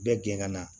Bɛɛ gɛn ka na